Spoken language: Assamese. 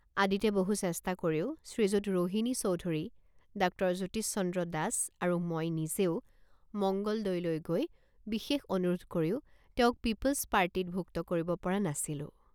আদিতে বহু চেষ্টা কৰিও শ্ৰীযুত ৰোহিণী চৌধুৰী ডাক্তৰ জ্যোতিষচন্দ্ৰ দাস আৰু মই নিজেও মঙ্গলদৈলৈ গৈ বিশেষ অনুৰোধ কৰিও তেওঁক পিপলছ পাৰ্টিত ভুক্ত কৰিব পৰা নাছিলোঁ।